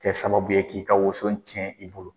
Kɛ sababu bɛ ye k'i ka woso tiɲɛ i bolo